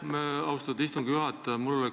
Aitäh, austatud istungi juhataja!